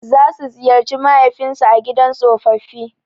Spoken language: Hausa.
Za su ziyarci mahaifin su a gidan tsofaffi.